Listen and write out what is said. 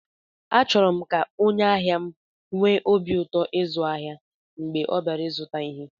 Achọrọ m ka onye ahịa m nwee obi ụtọ ịzụ ahịa mgbe ọ bịara ịzụta ihe